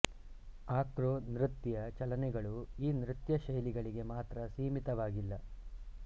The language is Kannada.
ಆಕ್ರೋ ನೃತ್ಯ ಚಲನೆಗಳು ಈ ನೃತ್ಯ ಶೈಲಿಗಳಿಗೆ ಮಾತ್ರ ಸೀಮಿತವಾಗಿಲ್ಲ